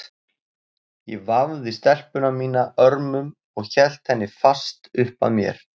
Ég vafði stelpuna mína örmum og hélt henni fast upp að mér.